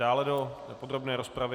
Dále do podrobné rozpravy?